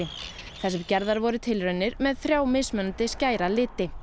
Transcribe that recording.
þar sem gerðar voru tilraunir með þrjá mismunandi skæra liti